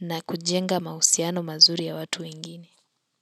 na kujenga mahusiano mazuri ya watu wengine.